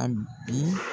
A bi